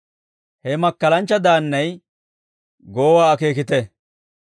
«He makkalanchcha daannay goowaa akeekite.